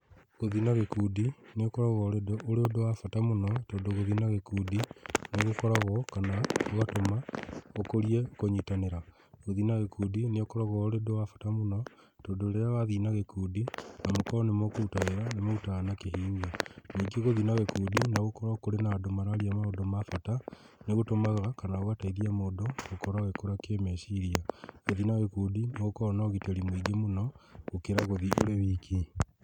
Gũthiĩ na gĩkundi nĩũkoragwo ũrĩ ũndũ wa bata mũno tondũ gũthiĩ na gĩkundi nĩgũkoragwo kana gũgatũma gũkũrie kũnyitanĩra. Gũthiĩ na gĩkundi nĩũkoragwo ũrĩ ũndũ wa bata mũno tondũ rĩrĩa wathiĩ na gĩkundi na mũkorwo nĩ mũkũruta wĩra nĩmũrutaga na kĩhinyio. Ningi gũthiĩ na gĩkundi nogũkorwo andũ mararia maũndũ ma bata, nĩgũtũmaga kana gũgateithia mũndũ gũkorwo agĩkũra kĩmeciria. Gũthiĩ na gĩkundi nĩgũkoragwo na ũgitĩri mũingĩ mũno gũkĩra gũthiĩ ũrĩ wiki.